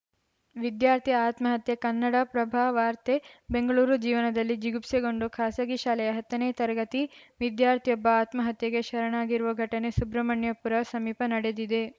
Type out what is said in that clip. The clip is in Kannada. ವಿದ್ಯಾರ್ಥಿ ಆತ್ಮಹತ್ಯೆ ಕನ್ನಡಪ್ರಭ ವಾರ್ತೆ ಬೆಂಗಳೂರು ಜೀವನದಲ್ಲಿ ಜಿಗುಪ್ಸೆಗೊಂಡು ಖಾಸಗಿ ಶಾಲೆಯ ಹತ್ತನೇ ತರಗತಿ ವಿದ್ಯಾರ್ಥಿಯೊಬ್ಬ ಆತ್ಮಹತ್ಯೆಗೆ ಶರಣಾಗಿರುವ ಘಟನೆ ಸುಬ್ರಹ್ಮಣ್ಯಪುರ ಸಮೀಪ ನಡೆದಿದೆ